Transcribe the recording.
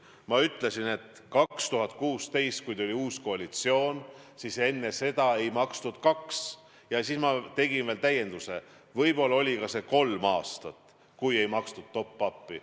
Ma ütlesin, et aastal 2016 tuli uus koalitsioon ja enne seda ei makstud kaks aastat, ja siis ma tegin veel täienduse, et võib-olla oli see kolm aastat, kui ei makstud top-up'i.